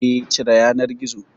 Eh, cire yanar gizon